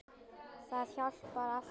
Það hjálpar alltaf til.